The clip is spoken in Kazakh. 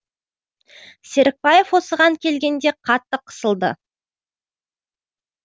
серікбаев осыған келгенде қатты қысылды